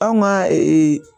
Anw ka